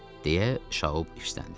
Deyə Şaub hirsləndi.